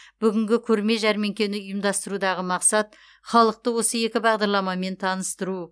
бүгінгі көрме жәрмеңкені ұйымдастырудағы мақсат халықты осы екі бағдарламамен таныстыру